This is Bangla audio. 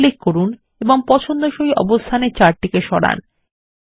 ক্লিক করুন এবং পছন্দসই অবস্থানে চার্ট সরান